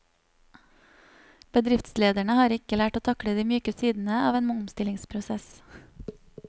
Bedriftslederne har ikke lært å takle de myke sidene av en omstillingsprosess.